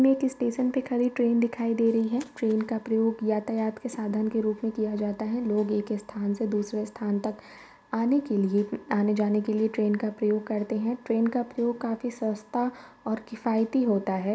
मे एक स्टेशन पे खड़ी ट्रेन दिखाई दे रही है। ट्रेन का प्रयोग यातायात के साधन के रूप में किया जाता है। लोग एक स्थान से दूसरे स्थान तक आने के लिए आने-जाने के लिए ट्रेन का प्रयोग करते है। ट्रेन का प्रयोग काफी सस्ता और किफायती होता है।